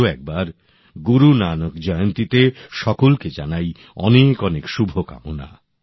আরও একবার গুরু নানক জয়ন্তীতে সকলকে জানাই অনেক অনেক শুভ কামনা